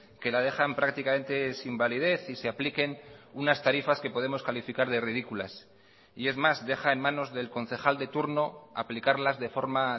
que la dejan prácticamente sin validez y se apliquen unas tarifas que podemos calificar de ridículas y es más deja en manos del concejal de turno aplicarlas de forma